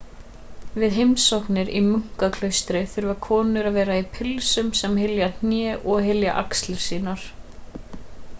við heimsóknir í munkaklaustur þurfa konur að vera í pilsum sem hylja hnén og hylja axlir sínar